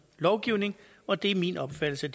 lovgivning og det er min opfattelse at